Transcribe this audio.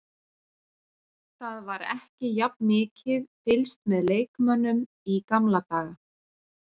Það var ekki jafn mikið fylgst með leikmönnum í gamla daga.